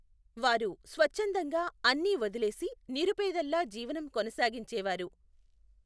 వారు స్వచ్ఛందంగా అన్నీ వదిలేసి నిరుపేదల్లా జీవనం కొనసాగించేవారు.